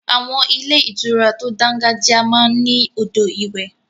Àwọn ilé ìtura tó dángájiá máa ń ní odò ìwẹ̀.